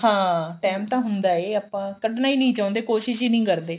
ਹਾਂ time ਤਾਂ ਹੁੰਦਾ ਏ ਆਪਾਂ ਕੱਢਣਾ ਈ ਨਹੀਂ ਚਾਹੁੰਦੇ ਕੋਸ਼ਿਸ਼ ਈ ਨਹੀਂ ਕਰਦੇ